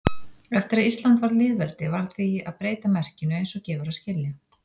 Eftir að Ísland varð lýðveldi varð því að breyta merkinu eins og gefur að skilja.